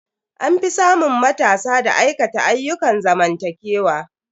An fi samun matasa da aikata ayyukan zamantakewa.